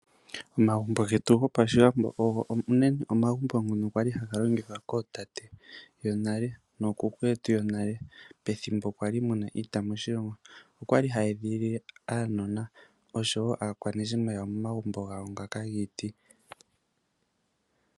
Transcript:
Omagumbo getu go pashiwambo ogo omagumbo ngoka kwali haga longithwa kootate monale nookuku yetu yonale mwali muna iita moshilongo, okwali hayeedhilile aakwanezimo yawo momagumbo gomiti.